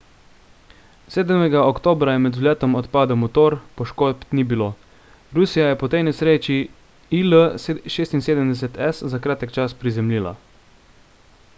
7 oktobra je med vzletom odpadel motor poškodb ni bilo rusija je po tej nesreči il-76s za kratek čas prizemljila